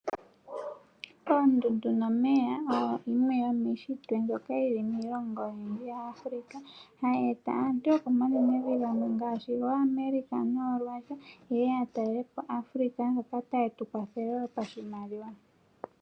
Oondundu nomeya oyo yimwe yomushitwe mbyoka yili miilongo oyindji ya Africa hayeta aantu yoko manenevi ngamwe ngashi ngo America no Russia yeye yatalelepo Africa yo tayetukwathele wo pashimaliwa.